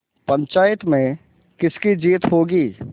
पंचायत में किसकी जीत होगी